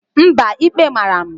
Mba, ikpe mara m.